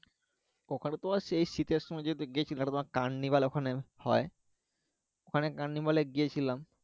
ওখানে তোমার সেই শীতে সময় যেহেতু গেছিলাম ওখানে হয় ওখানে এ গিয়েছিলাম